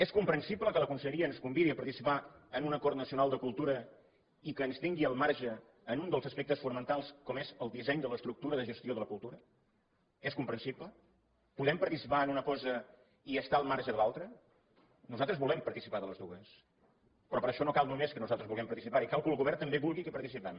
és comprensible que la conselleria ens convidi a participar en un acord nacional de cultura i que ens tingui al marge en un dels aspectes fonamentals com és el disseny de l’estructura de gestió de la cultura és comprensible podem participar en una cosa i estar al marge de l’altra nosaltres volem participar de les dues però per això no cal només que nosaltres vulguem participar hi cal que el govern també vulgui que hi participem